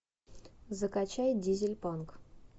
закачай дизель панк